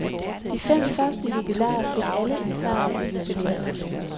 De fem første jubilarer fik alle en sejr i jubilæumsgave.